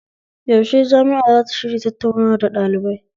Yaushe jami'a zata shirya tattaunawa da ɗalibai?